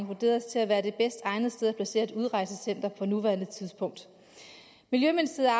vurderet til at være det bedst egnede sted at placere et udrejsecenter på nuværende tidspunkt miljøministeriet